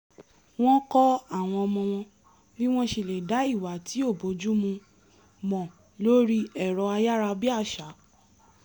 wọ́n kọ́ àwọn ọmọ wọn bí wọ́n ṣe lè dá ìwà tí ò bójúmu mọ̀ lórí ẹ̀rọ ayárabíàṣá